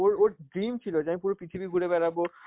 ওর~ ওর dream ছিল যে আমি পুরো পৃথিবী ঘুরে বেড়াবো,